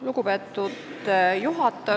Lugupeetud juhataja!